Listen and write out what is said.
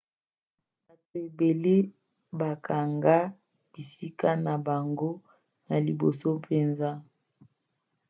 bato ebele bakanga bisika na bango na liboso mpenza mbala mingi masuwa ezalaka ya kotonda na eleko ya molai